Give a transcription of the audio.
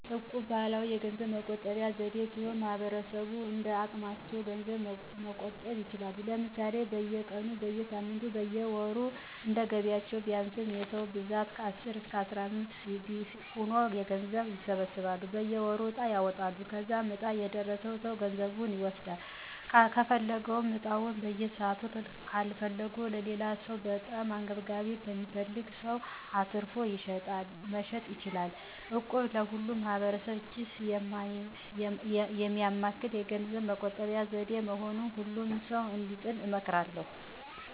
እቁብ ባህላዊ የገንዘብ መቆጠቢያ ዘዴ ሲሆን ማህበረሰቡ እንደየአቅማቸው ገንዘብ መቆጠብ ይችላሉ። ለምሳሌ፦ በየቀኑ, በየሳምንቱ ,በየወሩ እንደየገቢያቸው ቢያንስ የ ሰዉ ብዛት ከአስር እስከ አስራምስት ሆነው ገንዘብ ይሰበስቡና በየወሩ ዕጣ ያወጣሉ. ከዛም ዕጣው የደረሰው ሰው ገንዘቡን ይወስዳል .ከፈለጉም ዕጣውን በሰዓቱ ካልፈለጉት ለሌላው ሰው(በጣም አንገብጋቢ ለሚፈልግ ሰው)አትርፎ መሸጥ ይችላሉ። እቁብ የሁሉንም ማህበረሰብ ኪስ የሚያማክል የገንዘብ መቆጠቢያ ዘዴ በመሆኑ ሁሉም ሰዉ እንዲጥሉ እመክራለሁ።